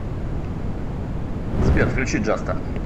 сбер включи джаста